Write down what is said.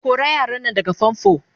ko kora yaran Nan daga fanfo!